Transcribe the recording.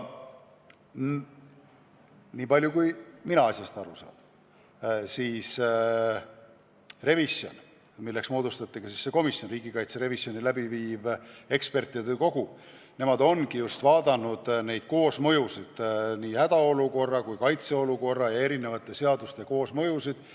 Nii palju kui mina asjast aru saan, see riigikaitse revisjoni läbi viinud ekspertide kogu ongi vaadanud neid koosmõjusid – hädaolukorra seaduse, riigikaitseseaduse ja muude seaduste koosmõjusid.